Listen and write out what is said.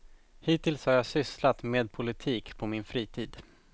Hittills har jag sysslat med politik på min fritid.